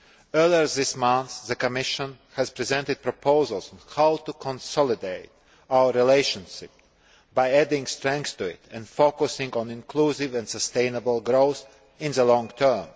Earlier this month, the Commission presented proposals on how to consolidate our relationship by adding strength to it and focusing on inclusive and sustainable growth in the long term.